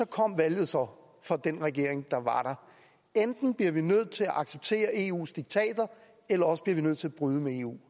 kom valget så for den regering der var der enten bliver vi nødt til at acceptere eus diktater eller også bliver vi nødt til at bryde med eu